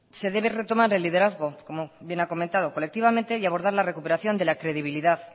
se debe retomar el liderazgo como bien ha comentado colectivamente y abordar la recuperación de la credibilidad